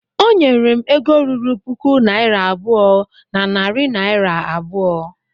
Ọnyere m ego ruru puku naira abụọ na narị naira abụọ